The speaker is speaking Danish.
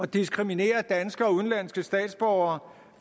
diskriminere danske og udenlandske statsborgere